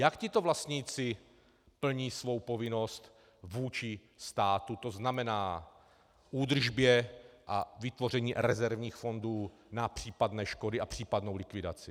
Jak tito vlastníci plní svou povinnost vůči státu, to znamená k údržbě a vytvoření rezervních fondů na případné škody a případnou likvidaci?